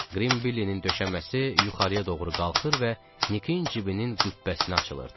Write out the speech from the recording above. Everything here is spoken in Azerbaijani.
Qrim Billinin döşəməsi yuxarıya doğru qalxır və Nikin cibinin qübbəsinə açılırdı.